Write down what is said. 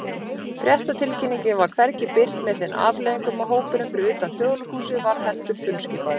Fréttatilkynningin var hvergi birt, með þeim afleiðingum að hópurinn fyrir utan Þjóðleikhúsið varð heldur þunnskipaður.